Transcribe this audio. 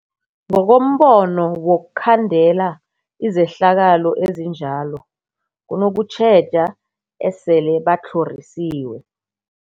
Ngokombono wokhandela izehlakalo ezinjalo kunokutjheja esele batlhorisiwe.